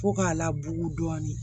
Ko k'a labugu dɔɔnin